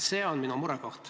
See on minu mure.